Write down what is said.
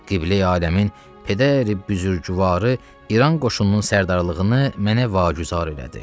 Qibləyi-Aləmin pedəri-büzürgüvarı İran qoşununun sərdarlığını mənə vacüzar elədi.